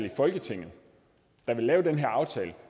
i folketinget der vil lave den her aftale